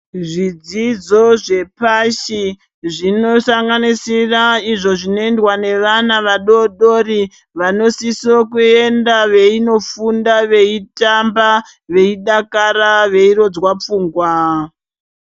Zvidzidzo zvepashi zvinosanganisira izvo zvinoendwa nevana vadodori vanosisokuenda veinofunda veitamba veidakara veirodzwa pfungwa.